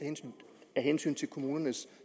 af hensyn til kommunernes